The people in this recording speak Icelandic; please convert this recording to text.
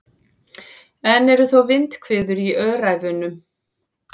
Enn eru þó vindhviður í Öræfunum